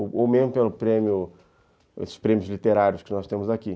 Ou mesmo pelo prêmio, esses prêmios literários que nós temos aqui.